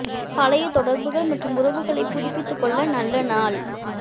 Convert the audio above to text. பழைய தொடர்புகள் மற்றும் உறவுகளைப் புதுப்பித்துக் கொள்ள நல்ல நாள்